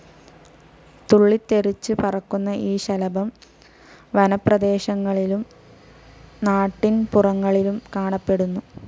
തുള്ളിത്തെറിച്ച് പറക്കുന്ന ഈ ശലഭം വനപ്രദേശങ്ങളിലും നാട്ടിൻ പുറങ്ങളിലും കാണപ്പെടുന്നു.